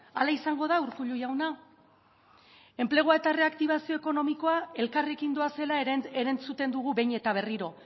hala izango da urkullu jauna enplegua eta erreaktibazio ekonomikoa elkarrekin doazela erantzuten dugu behin eta berriro